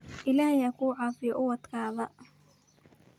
Illahey hakucafiyo cuwatkadha.